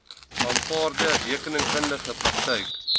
aanvaarde rekeningkundige praktyk